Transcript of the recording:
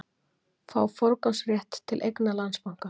Fái forgangsrétt til eigna Landsbanka